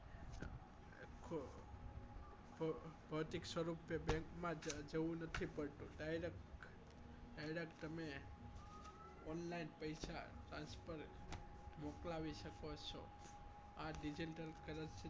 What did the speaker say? ભૌતિક સ્વરૂપે bank માં જવું પડતું નથી direct તમે online પૈસા transfer મોકલાવી શકો છો આ digital currency નો